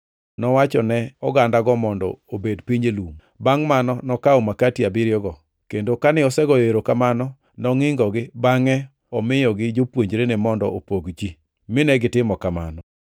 Nowachone ogandago mondo obed piny e lum. Bangʼ mano nokawo makati abiriyogo, kendo kane osegoyo erokamano, nongʼingogi bangʼe omiyogi jopuonjrene mondo opog ji, mine gitimo kamano.